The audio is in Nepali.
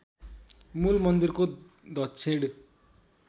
मूल मन्दिरको दक्षिण